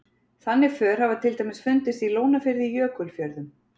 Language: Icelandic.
Þannig för hafa til dæmis fundist í Lónafirði í Jökulfjörðum.